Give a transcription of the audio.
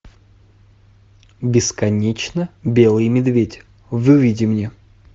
бесконечно белый медведь выведи мне